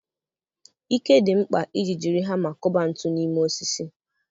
Ike dị mkpa iji jiri hama kụba ntu n'ime osisi.